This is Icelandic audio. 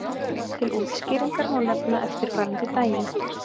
Til útskýringar má nefna eftirfarandi dæmi.